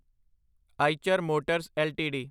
Eicher Motors LTD